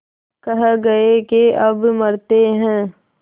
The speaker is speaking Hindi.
कह गये के अब मरते हैं